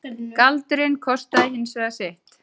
Galdurinn kostaði hins vegar sitt.